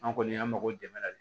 An kɔni y'an mago dɛmɛ